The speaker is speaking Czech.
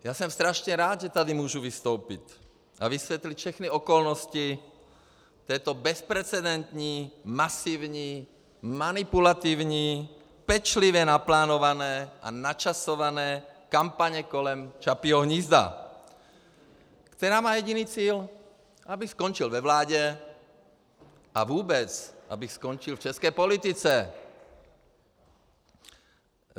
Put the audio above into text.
Já jsem strašně rád, že tady můžu vystoupit a vysvětlit všechny okolnosti této bezprecedentní masivní manipulativní pečlivě naplánované a načasované kampaně kolem Čapího hnízda, která má jediný cíl - abych skončil ve vládě a vůbec abych skončil v české politice.